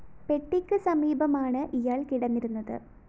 പെട്ടിക്ക് സമീപമാണ് ഇയാള്‍ കിടന്നിരുന്നത്